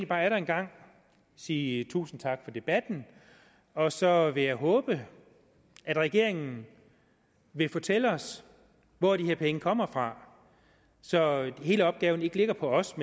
bare atter en gang sige tusind tak for debatten og så vil jeg håbe at regeringen vil fortælle os hvor de her penge kommer fra så hele opgaven ikke ligger på os